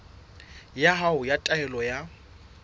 ya hao ya taelo ya